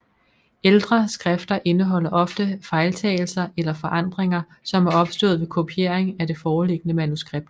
Ældre skrifter indeholder ofte fejltagelser eller forandringer som er opstået ved kopiering af det foreliggende manuskript